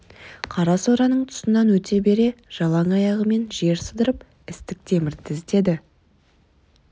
қара сораның тұсынан өте бере жалаң аяғымен жер сыдырып істік темірді іздеді